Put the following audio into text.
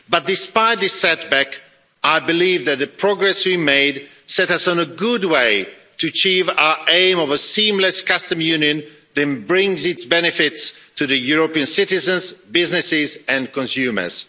But, despite this setback, I believe that the progress we made set us on a good path to achieve our aim of a seamless Customs Union that brings benefits to European citizens, businesses and consumers.